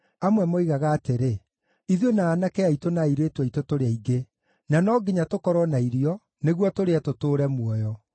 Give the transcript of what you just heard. Amwe moigaga atĩrĩ, “Ithuĩ na aanake aitũ na airĩtu aitũ tũrĩ aingĩ. Na no nginya tũkorwo na irio, nĩguo tũrĩe tũtũũre muoyo.”